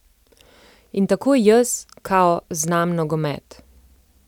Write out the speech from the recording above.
In tako jaz, kao, znam nogomet.